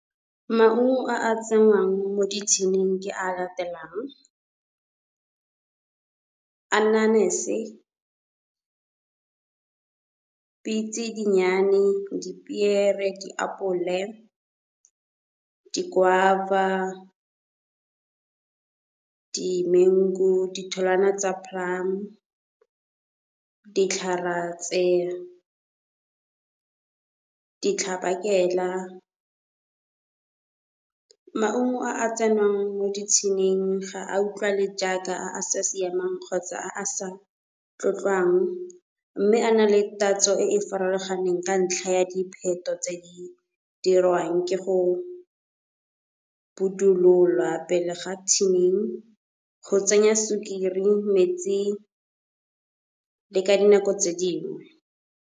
Maungo a a tsenngwang mo di-tin-ing ke a latelang, anyenise, pitse dinnyane, dipiere, diapole, di- guava, di-mango, ditholwana tsa plum, ditlharatse, ditlhabakela. Maungo a a tsengwang mo di-tin-ing ga a utlwale jaaka a a sa siamang kgotsa a a sa tlotlwang, mme a na le tatso e e farologaneng ka ntlha ya dipheto tse di dirwang ke go budululwa pele ga tin-ing, go tsenya sukiri metsi le ka dinako tse dingwe.